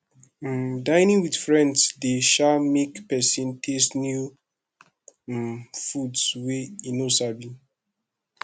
um dinning with friends de um make persin taste new um foods wey e no sabi